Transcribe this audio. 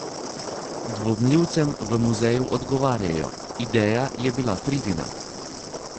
Dvomljivcem v muzeju odgovarjajo: "Ideja je bila Fridina.